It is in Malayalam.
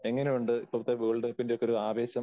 എങ്ങനെയുണ്ട് ഇപ്പോഴത്തെ വേൾഡ് കപ്പിന്റെ ഒക്കെ ഒരു ആവേശം?